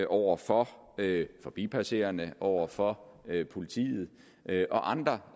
over for forbipasserende over for politiet og andre